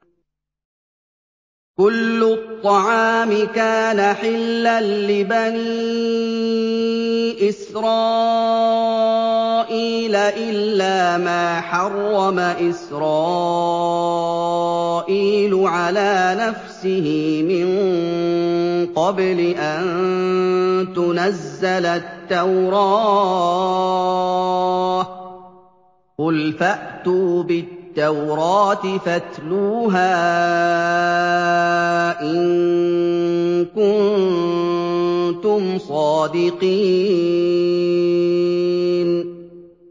۞ كُلُّ الطَّعَامِ كَانَ حِلًّا لِّبَنِي إِسْرَائِيلَ إِلَّا مَا حَرَّمَ إِسْرَائِيلُ عَلَىٰ نَفْسِهِ مِن قَبْلِ أَن تُنَزَّلَ التَّوْرَاةُ ۗ قُلْ فَأْتُوا بِالتَّوْرَاةِ فَاتْلُوهَا إِن كُنتُمْ صَادِقِينَ